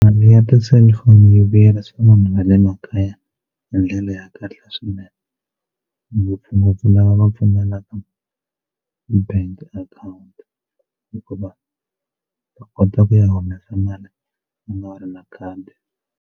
Liya ti-cellphone yi vuyerisa vanhu va le makaya hi ndlela ya kahle swinene ngopfungopfu lava va pfumelaka ti-bank account hikuva va kota ku ya humesa mali u nga ri na khadi.